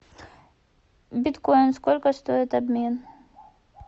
биткоин сколько стоит обмен